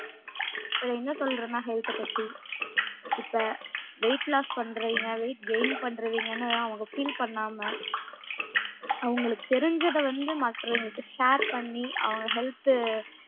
இப்போ என்னா சொல்றேன்னா health த பத்தி இப்ப weight loss பன்றவேன்க weight gain பன்றவேங்கன்னு அவுங்க feel பண்ணாம அவங்களுக்கு தெரிஞ்சத வந்து மற்றவங்களுக்கு share பண்ணி அவங்க health